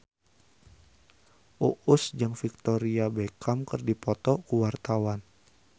Uus jeung Victoria Beckham keur dipoto ku wartawan